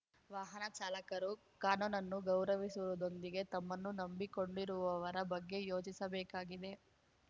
ವಾಹನ ಚಾಲಕರು ಕಾನೂನನ್ನು ಗೌರವಿಸುವುದರೊಂದಿಗೆ ತಮ್ಮನ್ನು ನಂಬಿಕೊಂಡಿರುವವರ ಬಗ್ಗೆ ಯೋಚಿಸಬೇಕಾಗಿದೆ